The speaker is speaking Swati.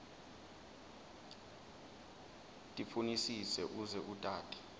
tifunisise uze utati